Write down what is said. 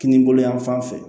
Kinibolo yan fan fɛ